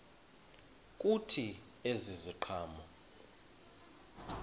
kuthi ezi ziqhamo